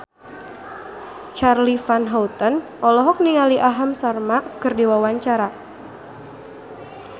Charly Van Houten olohok ningali Aham Sharma keur diwawancara